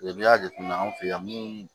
n'i y'a jateminɛ an fɛ yan min